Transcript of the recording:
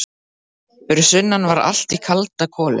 Fyrir sunnan var allt í kalda koli.